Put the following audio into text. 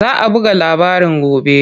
Za a buga labarin gobe.